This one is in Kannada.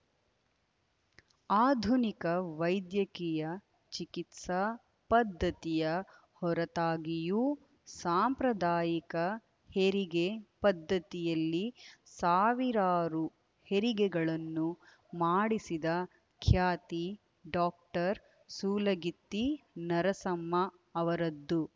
ಆಧುನಿಕ ವೈದ್ಯಕೀಯ ಚಿಕಿತ್ಸಾ ಪದ್ಧತಿಯ ಹೊರತಾಗಿಯೂ ಸಾಂಪ್ರದಾಯಿಕ ಹೆರಿಗೆ ಪದ್ದತಿಯಲ್ಲಿ ಸಾವಿರಾರು ಹೆರಿಗೆಗಳನ್ನು ಮಾಡಿಸಿದ ಖ್ಯಾತಿ ಡಾಕ್ಟರ್ ಸೂಲಗಿತ್ತಿ ನರಸಮ್ಮ ಅವರದ್ದು